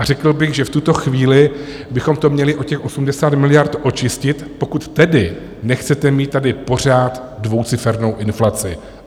A řekl bych, že v tuto chvíli bychom to měli o těch 80 miliard očistit, pokud tedy nechcete mít tady pořád dvoucifernou inflaci.